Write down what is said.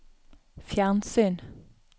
fjernsyn